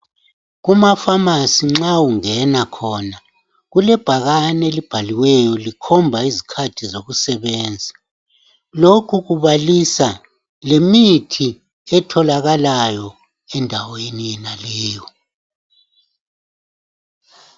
Kuma"pharmacy" nxa ungena khona kulebhakani elibhaliweyo likhomba izikhathi zokusebenza. Lokhu kubalisa lemithi etholakalayo endaweni yonaleyo.